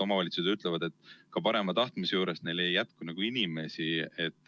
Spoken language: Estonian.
Omavalitsused ütlevad, et ka parima tahtmise juures neil ei jätku inimesi.